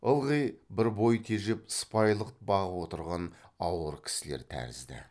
ылғи бір бой тежеп сыпайылық бағып отырған ауыр кісілер тәрізді